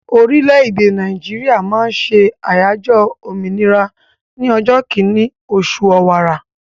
Orílẹ̀-èdè Nàìjíríà máa ń ṣe àyájọ́ òmìnira ní ọjọ́ kínní oṣù ọ̀wàrà.